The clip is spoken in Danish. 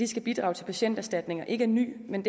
skal bidrage til patienterstatninger ikke er ny men